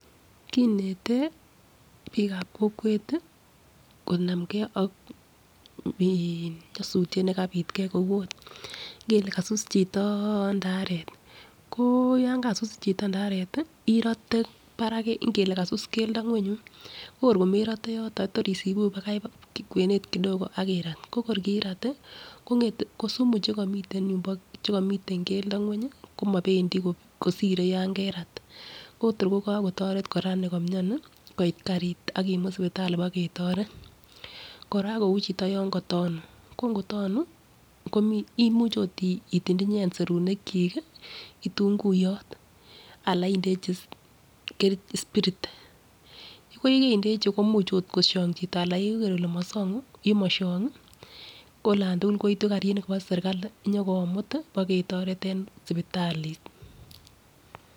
Kineten bikab kokwet tii konamgee ak nyosutyet nekapit kou ot ngele kasus chito ndaret ko yon kasus chito ndaret tii irote barak ngele kasus keldo mgweny yuun ko kor komerote yoton tor isibu bakain kwenet kidogo [cd]ak irat ko kor kirat tii komgete kosumu chekomiten yumbo chekomiten keledo ngweny komopendii kosire yo kerat Kotor kotoret koraa nikomioni koit karit ak kimut sipitali boketoret . Kora kou chito yon kotonu ko ngotonu komii imuche ot itindiye. Serunek chik kii kitingunguyot anan indechi kerch spirit ko yekendechi ko imuch ot koshong chito yeker ile moshongu yemoshongi ko Alan tukul koitu Kari I Kobo sirkali nyokomut boketoret en sipitalit.